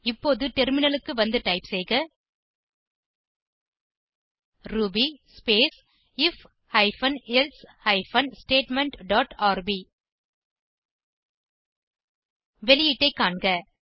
இப்போது டெர்மினலுக்கு வந்து டைப் செய்க Ruby space I F hyphen else hyphen statement dot R B வெளியீட்டை காண்க